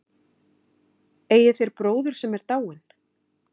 Eigið þér bróður sem er dáinn?